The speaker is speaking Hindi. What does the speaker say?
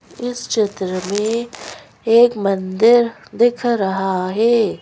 इस चित्र में एक मंदिर दिख रहा है।